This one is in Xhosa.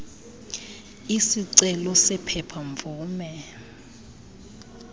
isicelo sephepha mvume